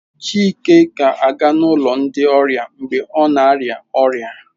Chike ga-aga n'ụlọ ndi ọrịa mgbe ọ na-arịa ọrịa